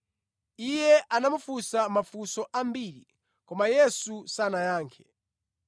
Iye anamufunsa mafunso ambiri, koma Yesu sanayankhe.